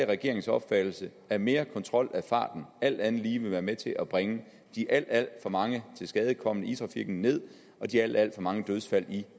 regeringens opfattelse at mere kontrol af farten alt andet lige vil være med til at bringe antallet de alt alt for mange tilskadekomne i trafikken ned og de alt alt for mange dødsfald i